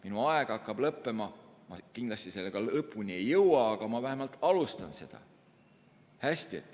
Minu aeg hakkab lõppema, ma kindlasti selle teemaga lõpuni ei jõua, aga ma vähemalt alustan seda.